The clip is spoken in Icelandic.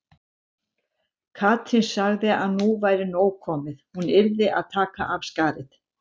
Katrín sagði að nú væri nóg komið, hún yrði að taka af skarið.